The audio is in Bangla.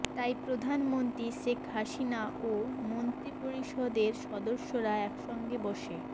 তাই প্রধানমন্ত্রী শেখ হাসিনা ও মন্ত্রিপরিষদের সদস্যরা একসঙ্গে বসে